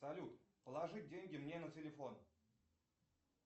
салют положи деньги мне на телефон